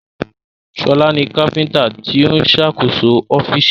Ṣọlá ni kápíntà tó ń ṣàkóso ọ́fíìsì